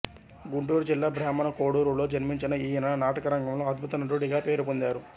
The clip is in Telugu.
గుంటూరు జిల్లా బ్రాహ్మణ కోడూరులో జన్మించిన ఈయన నాటకరంగంలో అద్భుత నటుడిగా పేరు పొందారు